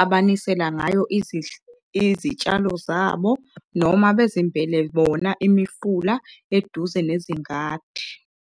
abanisela ngayo izitshalo zabo, noma bezimbele bona imifula eduze nezingadi.